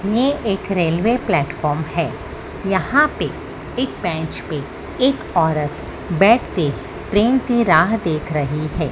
ये एक railway platform है। यहां पे एक बेंच पे एक औरत बैठ के ट्रेन की राह देख रही है।